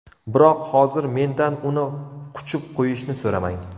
Biroq hozir mendan uni quchib qo‘yishni so‘ramang.